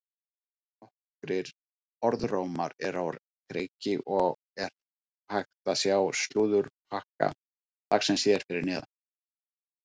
Nokkrir orðrómar eru á kreiki og er hægt að sjá slúðurpakka dagsins hér fyrir neðan.